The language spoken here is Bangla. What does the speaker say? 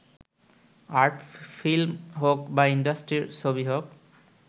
আর্ট ফিল্ম হোক বা ইন্ডাস্ট্রির ছবি হোক